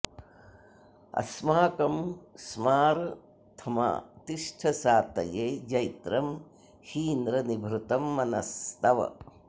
अस्माकं स्मा रथमा तिष्ठ सातये जैत्रं हीन्द्र निभृतं मनस्तव